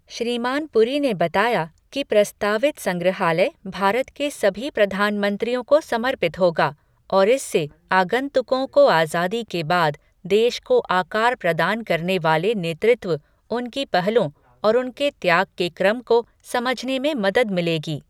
श्रीमान पुरी ने बताया कि प्रस्तावित संग्रहालय भारत के सभी प्रधानमंत्रियों को समर्पित होगा और इससे आगुन्तकों को आजादी के बाद देश को आकार प्रदान करने वाले नेतृत्व, उनकी पहलों और उनके त्याग के क्रम को समझने में मदद मिलेगी।